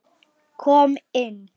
Kom inn